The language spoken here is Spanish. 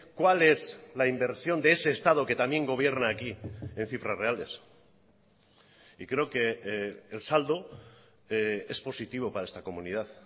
cuál es la inversión de ese estado que también gobierna aquí en cifras reales y creo que el saldo es positivo para esta comunidad